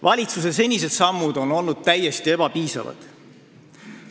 Valitsuse senised sammud on olnud täiesti ebapiisavad.